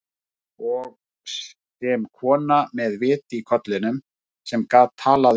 Og sem kona með vit í kollinum, sem get talað um